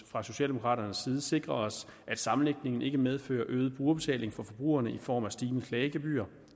fra socialdemokraternes side sikre os at sammenlægningen ikke medfører øget brugerbetaling for forbrugerne i form af stigende klagegebyr